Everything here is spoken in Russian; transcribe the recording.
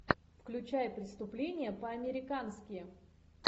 включай преступление по американски